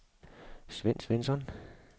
Svend Svensson